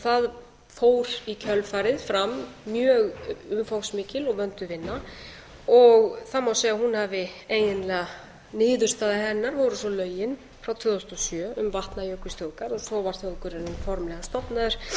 það fór í kjölfarið fram mjög umfangsmikil og vönduð vinna og það má segja að hún hafi eiginlega niðurstaða hennar voru svo lögin frá tvö þúsund og sjö um vatnajökulsþjóðgarð og þá var þjóðgarðurinn formlega stofnaður með